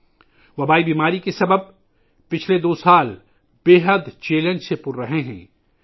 پچھلے دو سال، وبائی امراض کی وجہ سے، انتہائی چیلنجنگ رہے ہیں